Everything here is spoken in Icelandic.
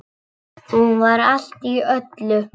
Hún var allt í öllu.